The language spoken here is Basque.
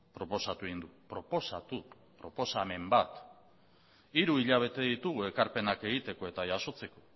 proposatu egin du proposatu proposamen bat hiru hilabete ditugu ekarpenak egiteko eta jasotzeko